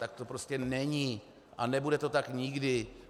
Tak to prostě není a nebude to tak nikdy.